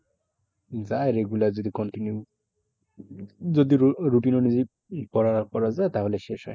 যায় regular যদি continue যদি rou~ routine অনুযায়ী পড়া করা যায় তাহলে শেষ হয়।